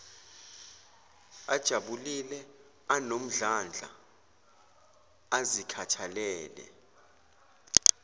ajabulile anomdlandla azikhathalele